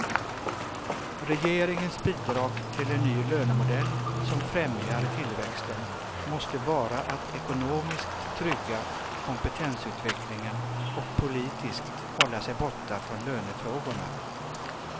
Regeringens bidrag till en ny lönemodell som främjar tillväxten måste vara att ekonomiskt trygga kompetensutvecklingen och politiskt hålla sig borta från lönefrågorna.